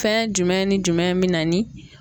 Fɛn jumɛn ni jumɛn bɛ na ni.